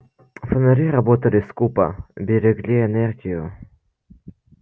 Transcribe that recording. фонари работали скупо берегли энергию